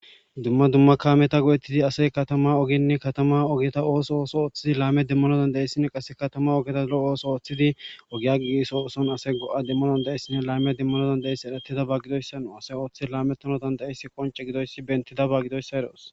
Dumma dumma kametina go'etidi asayi katama ogeta oso oththidi lametana demanawu dandayes. Qassi dumma dumma oso othidi asayi ogiya giggisawu asayi lamiya demanawu danidayes gusako